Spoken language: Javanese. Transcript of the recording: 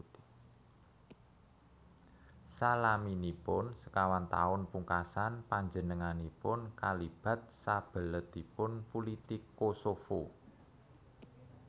Salaminipun sekawan taun pungkasan panjenenganipun kalibat sabeletipun pulitik Kosovo